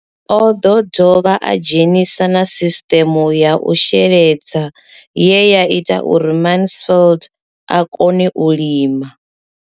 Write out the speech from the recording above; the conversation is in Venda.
O ḓo dovha a dzhenisa na sisiṱeme ya u sheledza ye ya ita uri Mansfied a kone u lima.